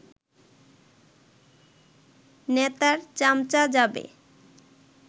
নেতার চামচা যাবে